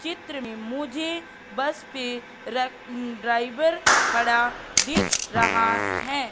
चित्र में मुझे बस पे रक ड्राइवर खड़ा दिख रहा है।